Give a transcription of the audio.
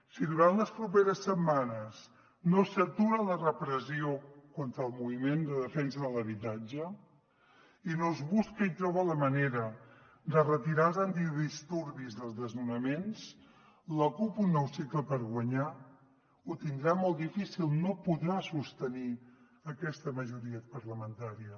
si durant les properes setmanes no s’atura la repressió contra el moviment de defensa de l’habitatge i no es busca i troba la manera de retirar els antidisturbis dels desnonaments la cup un nou cicle per guanyar ho tindrà molt difícil no podrà sostenir aquesta majoria parlamentària